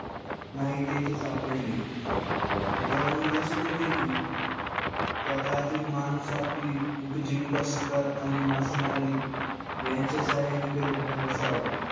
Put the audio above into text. नाही तेथे सापडले. यावरुन लक्षात येते कि त्या काळचे माणूस आपली उपजीविका शिकार आणि मासेमारी यांच्या सहाय्याने करीत असावा.